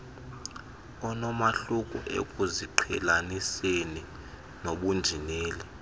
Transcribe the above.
onomahluko ekuziqhelaniseni nobunjineli